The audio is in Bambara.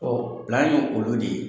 ye olu de ye;